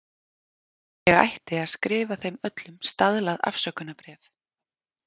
Ég ætti að skrifa þeim öllum staðlað afsökunarbréf.